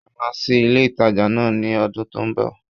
A máa sí ilé ìtajà náà ní odún tó n bò